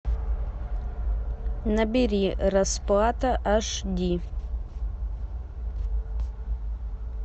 набери расплата аш ди